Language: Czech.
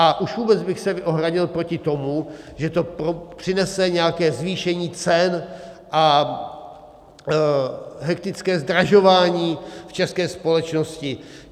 A už vůbec bych se ohradil proti tomu, že to přinese nějaké zvýšení cen a hektické zdražování v české společnosti.